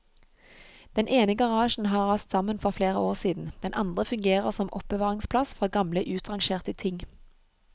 Den ene garasjen har rast sammen for flere år siden, den andre fungerer som oppbevaringsplass for gamle utrangerte ting.